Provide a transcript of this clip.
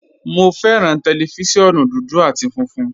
Mo fẹ́ran tẹlifísiọ̀nù dúdú àti fúnfun